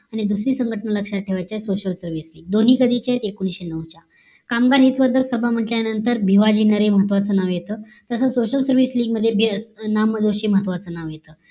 आणि दुसरे संघटना लक्ष्यात ठेवायचे social service LEAGUE दोन्ही कधीच्या आहेत एकोणिश्ये नऊ च्या कामगार हेतू म्हण्टल्यानंतर भिवाजी नरे महत्वाचं नाव येत तस social service LEAGUE मध्ये बी ना. म. जोशी महत्वाचं नाव येत